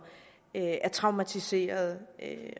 er traumatiserede